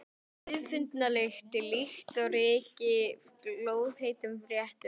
Auðfundna lykt, líkt og ryki af glóðheitum réttum.